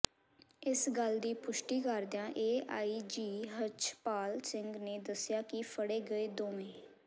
ਇਸ ਗੱਲ ਦੀ ਪੁਸ਼ਟੀ ਕਰਦਿਆਂ ਏਆਈਜੀ ਰਛਪਾਲ ਸਿੰਘ ਨੇ ਦੱਸਿਆ ਕਿ ਫੜੇ ਗਏ ਦੋਵਾ